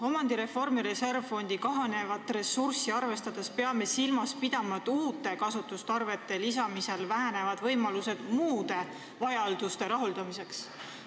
Omandireformi reservfondi kahanevat ressurssi arvestades peame silmas pidama, et uute kasutusotstarvete lisamisel vähenevad võimalused muude vajaduste rahuldamiseks.